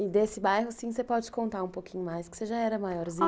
E desse bairro, sim, você pode contar um pouquinho mais, que você já era maiorzinha.